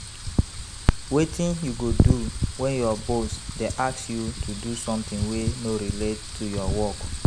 Wetin you go do when your boss dey ask you to do someting wey no relate to your work?